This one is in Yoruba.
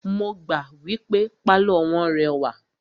Mo gbà wípé pálọ̀ wọ́n rẹwà.